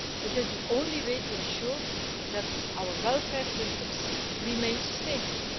It is the only way to ensure that our welfare systems remain sustainable.